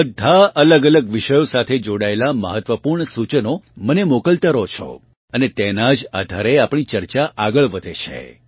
તમે બધા અલગઅલગ વિષયો સાથે જોડાયેલાં મહત્વપૂર્ણ સૂચનો મને મોકલતાં રહો છો અને તેનાં જ આધારે આપણી ચર્ચા આગળ વધે છે